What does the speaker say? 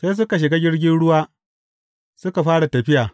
Sai suka shiga jirgin ruwa suka fara tafiya.